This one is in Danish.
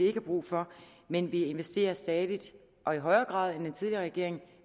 har brug for men vi investerer stadig væk og i højere grad end den tidligere regering